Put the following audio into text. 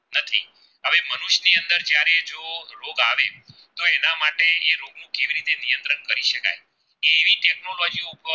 કોરો બાજી નો